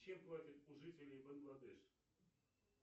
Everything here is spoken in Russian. чем платят у жителей бангладеш